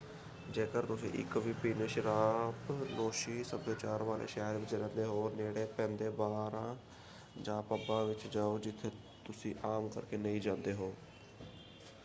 ਜੇਕਰ ਤੁਸੀਂ ਇਕ ਵਿਭਿੰਨ ਸ਼ਰਾਬਨੋਸ਼ੀ ਸਭਿਆਚਾਰ ਵਾਲੇ ਸ਼ਹਿਰ ਵਿੱਚ ਰਹਿੰਦੇ ਹੋ ਨੇੜੇ ਪੈਂਦੇ ਬਾਰਾਂ ਜਾਂ ਪੱਬਾਂ ਵਿੱਚ ਜਾਓ ਜਿੱਥੇ ਤੁਸੀਂ ਆਮ ਕਰਕੇ ਨਹੀਂ ਜਾਂਦੇ ਹੋ।